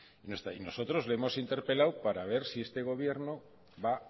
no está ahí nosotros le hemos interpelado para ver si este gobierno va